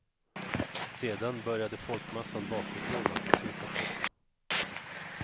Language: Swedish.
Sedan började folkmassan bakifrån att trycka på.